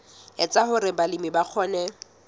etsa hore balemi ba kgone